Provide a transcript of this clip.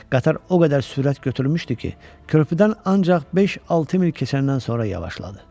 Qatar o qədər sürət götürmüşdü ki, körpüdən ancaq beş-altı mil keçəndən sonra yavaşladı.